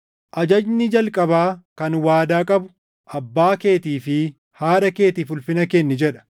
Ajajni jalqabaa kan waadaa qabu, “Abbaa keetii fi haadha keetiif ulfina kenni” jedha;